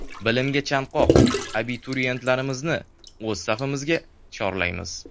Bilimga chanqoq abituriyentlarimizni o‘z safimizga chorlaymiz.